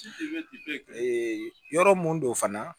yɔrɔ mun do fana